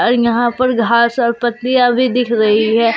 अर यहां पर घास और पत्तियां भी दिख रही है।